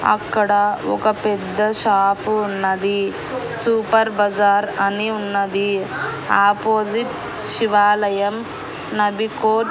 అక్కడ ఒక పెద్ద షాపు ఉన్నది సూపర్ బజార్ అని ఉన్నది అపోసిట్ శివాలయం నబికో--